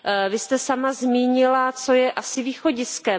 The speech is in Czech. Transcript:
Vy jste sama zmínila, co je asi východiskem.